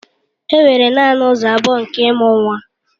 Enwere naanị ụzọ abụọ nke ịmụ nwa